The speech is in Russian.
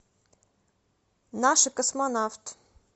наши космонавт